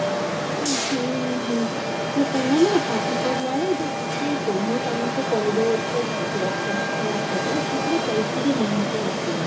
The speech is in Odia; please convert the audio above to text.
ଉଁ ହୁଁ ହୁଁ ତ ତମେ ନା ପାଠ ପଢିଲା ବେଳେ ନା କିଛି କହୁ ମୁଁ ତମକୁ କହିଦଉଛି ପ୍ର ପ୍ରଶ୍ନ ବାଚକ ଯଉଗୁଡା ପରୀକ୍ଷାରେ ନିହାତି ଆସିବ